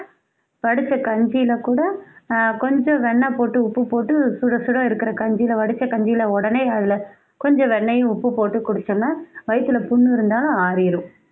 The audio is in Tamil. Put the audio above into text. வடிச்ச கஞ்சியில கூட ஆஹ் கொஞ்சம் வெண்ணை போட்டு உப்பு போட்டு சுட சுட இருக்குற கஞ்சில வடிச்ச கஞ்சியில உடனே அதுல கொஞ்சம் வெண்ணயும் உப்பு போட்டு குடிச்சோம்னா வயித்தில புண் இருந்தா ஆறிடும்